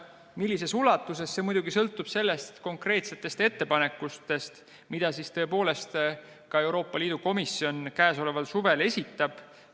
Millises ulatuses, sõltub muidugi konkreetsetest ettepanekutest, mida Euroopa Liidu komisjon sel suvel esitab.